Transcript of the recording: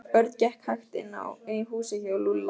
Örn gekk hægt inn í húsið hjá Lúlla.